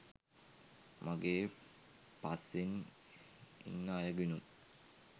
මගේ පස්සෙන් ඉන්න අයගෙනුත්